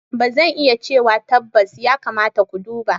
Ba zan iya cewa tabbas, ya kamata ku duba.